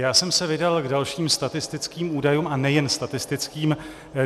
Já jsem se vydal k dalším statistickým údajům, a nejen statistickým.